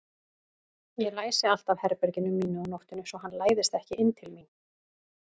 Ég læsi alltaf herberginu mínu á nóttunni svo hann læðist ekki inn til mín.